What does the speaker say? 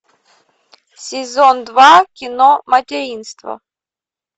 сезон два кино материнство